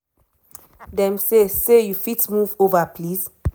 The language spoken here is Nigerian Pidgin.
"dem say say you fit move ova please?'